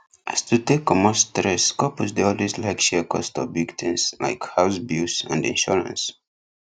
as to take commot stress couples dey always like share cost of big things like house bills and insurance